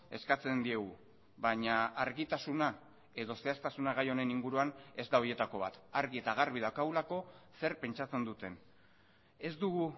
eskatzendiegu baina argitasuna edo zehaztasuna gai honen inguruan ez da horietako bat argi eta garbi daukagulako zer pentsatzen duten ez dugu